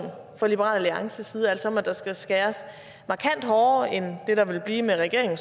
fra liberal alliances side altså om at der skal skæres markant hårdere end det der ville blive med regeringen